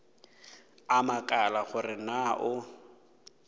a makala gore na o